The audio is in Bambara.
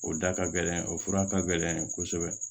O da ka gɛlɛn o fura ka gɛlɛn kosɛbɛ